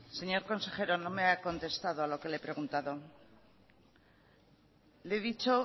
señor consejero no me ha contestado a lo que le he preguntado le he dicho